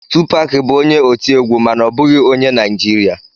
Tupac bụ onye otiegwu mana ọ bụghị onye Naijiria